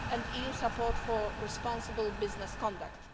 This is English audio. and EU support for responsible business conduct.